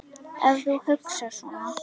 Ef þú hugsar svona.